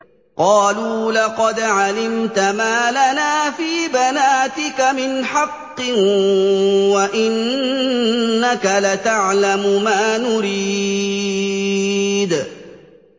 قَالُوا لَقَدْ عَلِمْتَ مَا لَنَا فِي بَنَاتِكَ مِنْ حَقٍّ وَإِنَّكَ لَتَعْلَمُ مَا نُرِيدُ